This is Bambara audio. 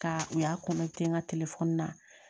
Ka u y'a kɔnɔ ten n ka telefɔni na